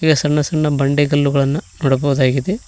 ಇಲ್ಲಿ ಹಸಿರಿನ ಹಸಿರಿನ ಬಂಡೆಗಲ್ಲು ಗಳನ್ನು ನೋಡಬಹುದಾಗಿದೆ.